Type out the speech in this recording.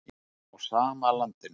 Á sama landinu.